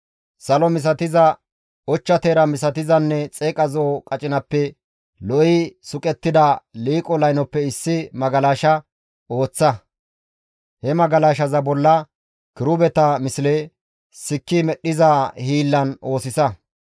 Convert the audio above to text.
«Salo misatizappe, ochcha teera misatiza qacinappenne xeeqa zo7o qacinappenne lo7i suqettida liiqo laynoppe issi magalasha ooththa; he magalashaza bolla kirubeta misle sikki medhdhiza hiillan oosisa.